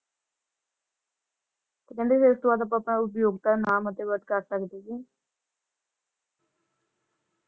ਤੇ ਕਹਿੰਦੇ ਜੇ ਉਪਯੋਗ ਕਰਨ ਕਰ ਸਕਦੇ ਸੀ ।